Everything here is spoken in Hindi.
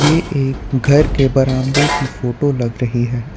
ये एक घर के बरामदे की फोटो लग रही है।